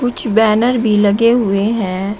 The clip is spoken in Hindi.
की बैनर भी लगे हुए हैं।